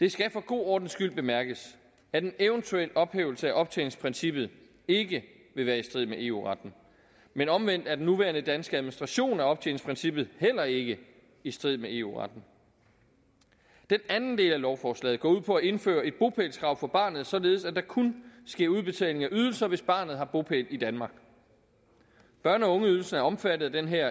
det skal for god ordens skyld bemærkes at en eventuel ophævelse af optjeningsprincippet ikke vil være i strid med eu retten men omvendt er den nuværende danske administration af optjeningsprincippet heller ikke i strid med eu retten den anden del af lovforslaget går ud på at indføre et bopælskrav for barnet således at der kun sker udbetaling af ydelser hvis barnet har bopæl i danmark børne og ungeydelsen er omfattet af den her